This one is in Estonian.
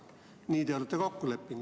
Nii te olete kokku leppinud.